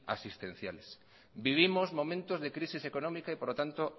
asistenciales vivimos momentos de crisis económica y por lo tanto